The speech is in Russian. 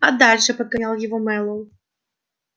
а дальше подгонял его мэллоу